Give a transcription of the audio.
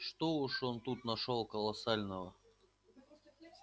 что уж он тут нашёл колоссального